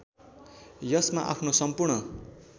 यसमा आफ्नो सम्पूर्ण